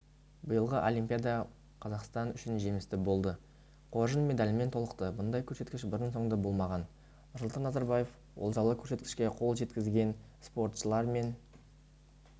биылғы олимпиада қазақстан үшін жемісті болды қоржын медальмен толықты мұндай көрсеткіш бұрын-сонды болмаған нұрсұлтан назарбаев олжалы көрсеткішке қол жеткізген спортшылар мен